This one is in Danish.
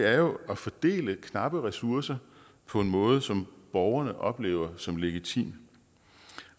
er jo at fordele knappe ressourcer på en måde som borgerne oplever som legitim